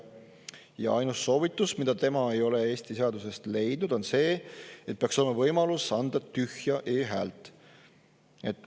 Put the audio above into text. Ja ainus soovitus, mida tema ei ole Eesti seadusest leidnud, on see, et peaks olema võimalus anda tühja e-häält.